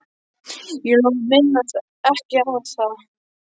Ég lofa að minnast ekki á það.